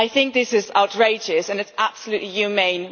I think this is outrageous, and it is absolutely inhumane.